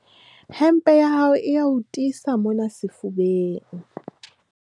hempe ya hao e a o tiisa mona sefubeng